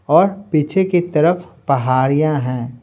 और पीछे की तरफपहाड़ियां हैं।